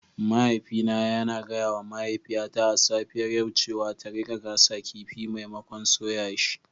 Mahaifina yana gaya wa mahaifiyata a safiyar yau cewa ta rika gasa kifi maimakon soya shi.